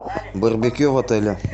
барбекю в отеле